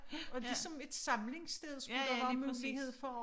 Og ligesom et samlingssted skulle der være mulighed for